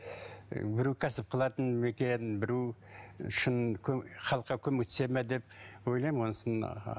ы біреу кәсіп қылатын ма екен біреу шын халыққа көмектеседі ме деп ойлаймын онысын